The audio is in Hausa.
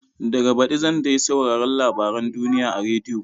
Daga baɗi zan dai sauraron labaren duniya a rediyo.